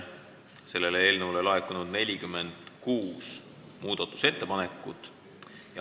Selle eelnõu kohta on laekunud 46 muudatusettepanekut.